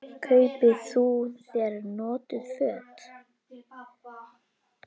Kaupi þú þér notuð föt?